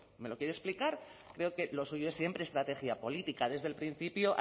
me lo quiere explicar creo que lo suyo es siempre estrategia política desde el principio